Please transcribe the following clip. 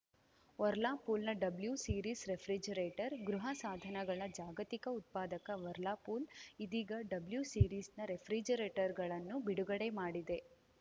ವರ್ಲಾಪೂಲ್‌ನ W series refrigerator ಗೃಹಸಾಧನಗಳ ಜಾಗತಿಕ ಉತ್ಪಾದಕ ವರ್ಲಾಪೂಲ್‌ ಇದೀಗ ಡಬ್ಲ್ಯೂ ಸೀರೀಸ್‌ನ ರೆಫ್ರಿಜರೇಟರ್‌ಗಳನ್ನು ಬಿಡುಗಡೆ ಮಾಡಿದೆ